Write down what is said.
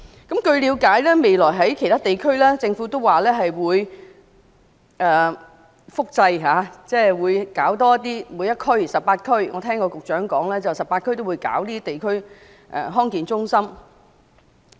據了解，政府表示未來會在其他地區、每一區複製地區康健中心，我聽到局長也是說會在全港18區設立地區康健中心。